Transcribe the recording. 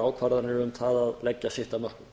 ákvarðanir um það að leggja sitt af mörkum